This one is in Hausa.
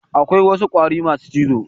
Akwai wasu ƙwari masu cizo.